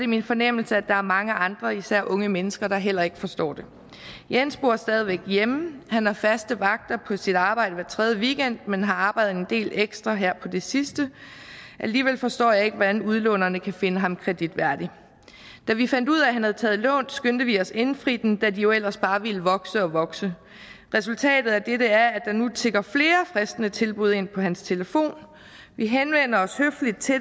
min fornemmelse at der er mange andre især unge mennesker der heller ikke forstår det jens bor stadig væk hjemme han har faste vagter på sit arbejde hver tredje weekend men har arbejdet en del ekstra her på det sidste alligevel forstår jeg ikke hvordan udlånerne kan finde ham kreditværdig da vi fandt ud af at han havde taget lån skyndte vi os at indfri dem da de jo ellers bare ville vokse og vokse resultatet af dette er at der nu tikker flere fristende tilbud ind på hans telefon vi henvender os høfligt til